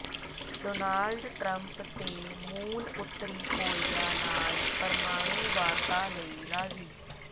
Donald Trump ਤੇ Moon ਉੱਤਰੀ Korea ਨਾਲ ਪਰਮਾਣੂ ਵਾਰਤਾ ਲਈ ਰਾਜ਼ੀ